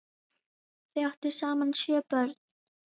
Þau áttu saman sjö börn.